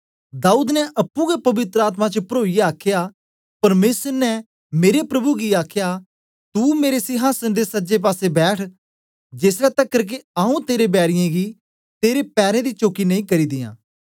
दाऊद ने अप्पुं गै पवित्र आत्मा च परोईयै आखया परमेसर ने मेरे प्रभु गी आखया तू मेरे सिहासन दे सज्जे पासे बैठ जेसलै तकर के आऊँ तेरे बैरीयें गी तेरे पैरें दी चौकी नेई करी दियां